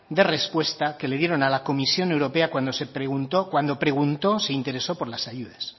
de respuesta que le dieron a la comisión europea cuando preguntó se interesó por las ayudas